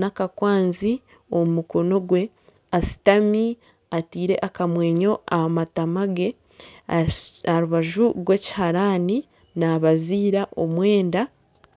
nakakwanzi omu mukono gwe ashutami atiire akamwenyo aha matama ge aha rubaju rwekiharani nabaziira omwenda.